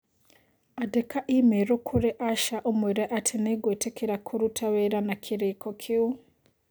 Andĩka i-mīrū kũrĩ Asha ũmwĩre atĩ nĩ ngwĩtĩkĩra kũruta wĩra na kĩrĩĩko kĩu.